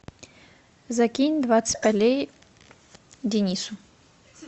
закинь двадцать рублей денису